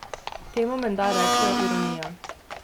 Temu menda rečejo ironija.